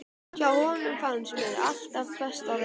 Hjá honum fannst mér alltaf best að vera.